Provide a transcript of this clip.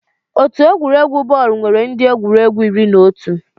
Otu egwuregwu bọọlụ nwere ndị egwuregwu iri na otu.